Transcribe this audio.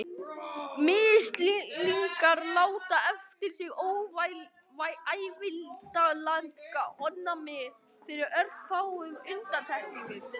Mislingar láta eftir sig ævilangt ónæmi með örfáum undantekningum.